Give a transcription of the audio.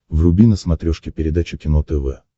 вруби на смотрешке передачу кино тв